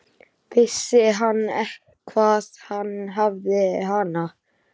Vissi ekki hvar hann hafði hana.